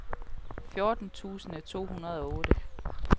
fjorten tusind to hundrede og otte